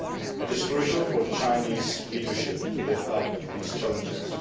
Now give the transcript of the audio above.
It is crucial for the Chinese leadership to live up to these challenges.